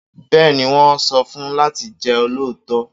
Bẹ́ẹ̀ni, wón sọfun láti jẹ́ olóòótọ́